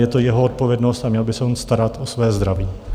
Je to jeho odpovědnost a měl by se on starat o své zdraví.